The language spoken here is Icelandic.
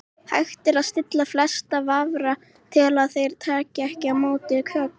Hægt er að stilla flesta vafra til að þeir taki ekki á móti kökum.